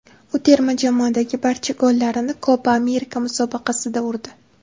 U terma jamoadagi barcha gollarini Kopa Amerika musobaqasida urdi.